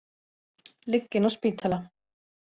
Ligg inni á spítala